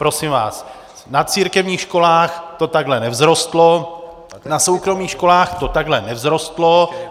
Prosím vás, na církevních školách to takhle nevzrostlo, na soukromých školách to takhle nevzrostlo.